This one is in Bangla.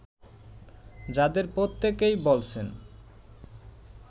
যাদের প্রত্যেকেই বলছেন